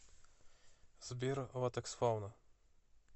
сбер латексфауна